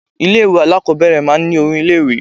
Ilé ìwé alákọ̀ọ́bẹ̀rẹ̀ máa ń ní orin ilé ìwé.